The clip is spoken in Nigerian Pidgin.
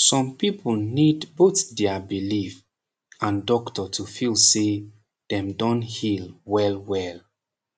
som people need both dia belief and doctor to feel say dem don heal well well